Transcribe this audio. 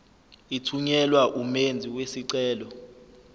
ithunyelwa umenzi wesicelo